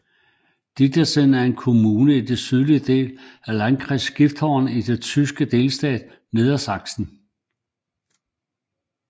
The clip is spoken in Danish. Didderse er en kommune i den sydlige del af Landkreis Gifhorn i den tyske delstat Niedersachsen